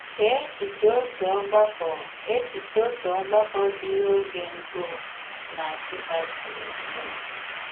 Chee echiche otu ògbàkọ echiche otu ògbàkọ dị n’oge gboo n’Nsụ́kkà siri bido.